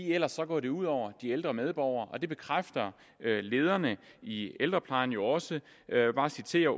ellers går det ud over de ældre medborgere og det bekræfter lederne i ældreplejen jo også jeg vil bare citere